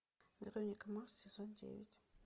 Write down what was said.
вероника марс сезон девять